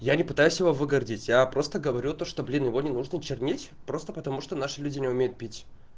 я не пытаюсь его выгородить я просто говорю то что блин его не нужно чернить просто потому что наши люди не умеют пить